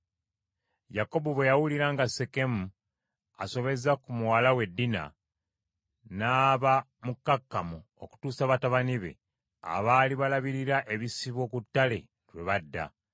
Yakobo bwe yawulira nga Sekemu asobezza ku muwala we Dina, n’aba mukkakkamu okutuusa batabani be abaali balabirira ebisibo ku ttale lwe badda.